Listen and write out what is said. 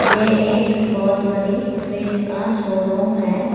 ये एक बहुत बड़ी फ्रिज का शोरूम है।